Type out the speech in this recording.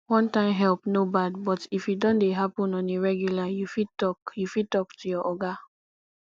one time help no bad but if e don dey happen on a regular you fit talk you fit talk to your oga